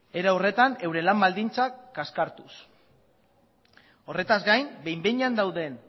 era horretan euren lan baldintzak kaskartuz horretaz gain behin behinean dauden